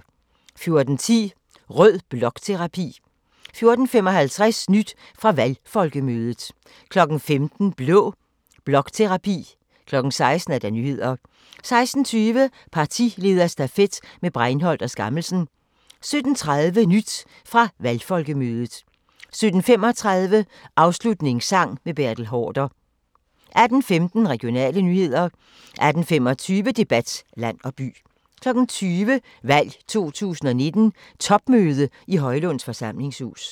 14:10: Rød blokterapi 14:55: Nyt fra valgfolkemødet 15:00: Blå blokterapi 16:00: Nyhederne 16:20: Partilederstafet med Breinholt og Skammelsen 17:30: Nyt fra valgfolkemødet 17:35: Afslutningssang med Bertel Haarder 18:15: Regionale nyheder 18:25: Debat - land og by 20:00: Valg 2019: Topmøde i Højlunds Forsamlingshus